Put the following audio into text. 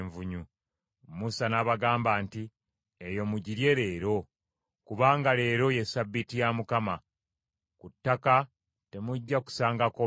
Musa n’abagamba nti, “Eyo mugirye leero, kubanga leero ye Ssabbiiti ya Mukama , ku ttaka temujja kusangako mmere.